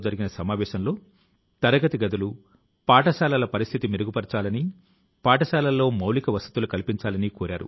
67 సంవత్సరాల క్రితం ఆయన తన కల ను నెరవేర్చుకోవడం మొదలుపెట్టారు